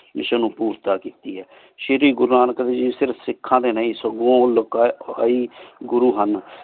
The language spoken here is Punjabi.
ਮਿਸ੍ਸਿਓਂ ਨੂ ਪੂਰ੍ਤ ਕੀਤੀ ਆਯ ਸ਼ੀਰੀ ਗੁਰੂ ਨਾਨਕ ਦੇਵ ਜੀ ਸਿਰਫ ਸਿਖਾਂ ਡੀ ਨਾਈ ਸਗੋਂ ਓਹ ਲੋਕਾਂ ਲੈ ਗੁਰੂ ਹਨ